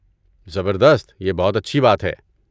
زبردست! یہ بہت اچھی بات ہے۔